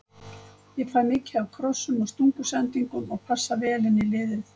Ég fæ mikið af krossum og stungusendingum og passa vel inn í liðið.